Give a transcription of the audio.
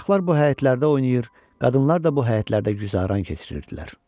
Uşaqlar bu həyətlərdə oynayır, qadınlar da bu həyətlərdə güzəran keçirirdilər.